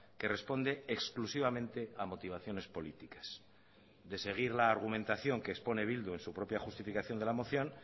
que responde exclusivamente a motivaciones políticas de seguir la argumentación que expone bildu en su propia justificación de la moción